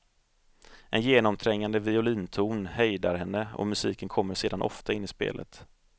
En genomträngande violinton hejdar henne, och musiken kommer sedan ofta in i spelet.